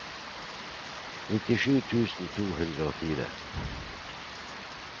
nittisju tusen to hundre og fire